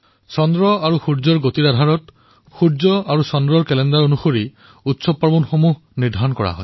চন্দ্ৰমা আৰু সূৰ্যৰ গতিৰ ওপৰত আধাৰিত চন্দ্ৰ আৰু সূৰ্য কেলেণ্ডাৰ অনুসৰি পৰ্ব আৰু উৎসৱৰ তিথি নিৰ্ধাৰিত হয়